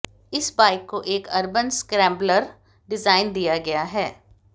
इस बाइक को एक अर्बन स्क्रैम्बलर डिज़ाइन दिया गया है